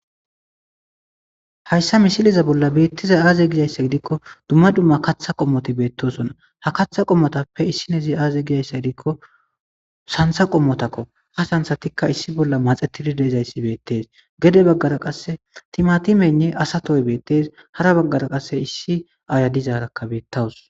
Haysa misileza bollan betizay aze gizaysa gidikon dumma dumma katha qomot betosona, ha katha qomotappe issinozi aze gizaysa gidikon santha qomotako,ha santhatika issi bolla maxetid de'izayai betesi , gede bagara qase timatimeynne asa Toy betes, hara bagara qase issi Aaya dizaraka beetawusi.